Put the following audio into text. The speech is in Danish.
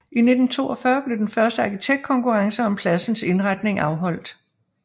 I 1942 blev den første arkitektkonkurrence om pladsens indretning afholdt